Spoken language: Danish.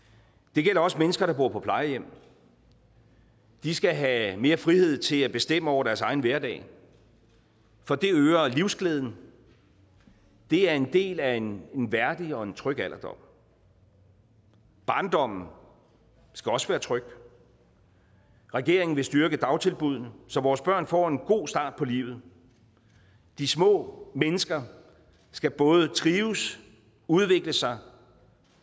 det gælder også mennesker der bor på plejehjem de skal have mere frihed til at bestemme over deres egen hverdag for det øger livsglæden det er en del af en værdig og en tryg alderdom barndommen skal også være tryg regeringen vil styrke dagtilbuddene så vores børn får en god start på livet de små mennesker skal både trives udvikle sig